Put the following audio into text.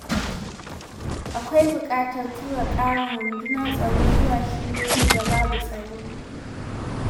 Akwai buƙatar tura ƙarin rundunar tsaro zuwa shiyoyin da babu tsaro.